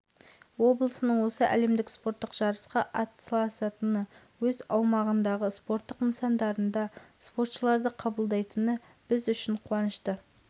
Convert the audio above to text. ерекше көңіл бөлуінің нәтижесінде қол жеткіздік бұл әрбір қазақстандық үшін маңызы ерекше оқиға болмақ алматы